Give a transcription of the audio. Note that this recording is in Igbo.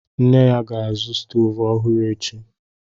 Nna ya ga-azụ stovu ọhụrụ echi.